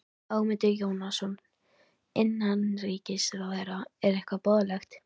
Ögmundur Jónasson, innanríkisráðherra: Er hvað boðlegt?